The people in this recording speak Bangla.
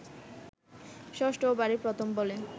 ষষ্ঠ ওভারের প্রথম বলে